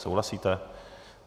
Souhlasíte?